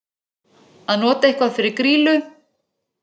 Að nota eitthvað fyrir grýlu